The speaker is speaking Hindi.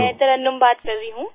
मैं तरन्नुम बात कर रही हूँ